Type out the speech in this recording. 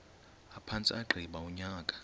aphantse agqiba unyaka